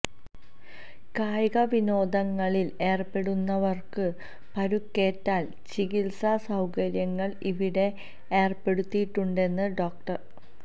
കായിക വിനോദങ്ങ ളില് ഏര്പെടുന്നവര്ക്ക് പരുക്കേറ്റാല് ചികിത്സാ സൌകര്യങ്ങള് ഇവിടെ ഏര്പെടുത്തിയിട്ടുണ്ടെന്ന് ഡോ